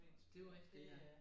Det jo rigtigt ja